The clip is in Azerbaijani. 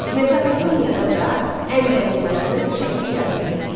Mesopotamiyada da ən qədim yazı şəkli yazı idi.